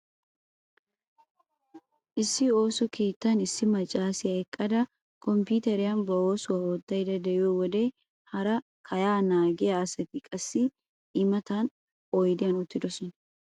Issi ooso keettan issi maccaasiya eqqada komppuuteriyan ba oosuwa oottaydda de'iyo wode hara kayaa naagiya asati qassi I matan oydiyan uttidosona.